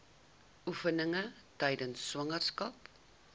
oefeninge tydens swangerskap